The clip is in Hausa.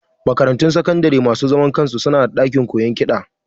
Makaratun sakandare na masu zaman kansu su na da ɗakin koyon kiɗa